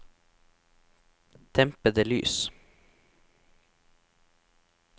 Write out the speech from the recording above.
dempede lys